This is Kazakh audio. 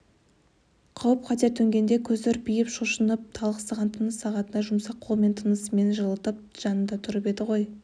қауіп-қатер төнгенде көзі үрпиіп шошынып талықсыған тыныс сағатында жұмсақ қолымен тынысымен жылытып жанында тұрып еді ғой